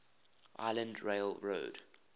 island rail road